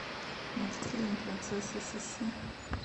мультфильм принцесса сисси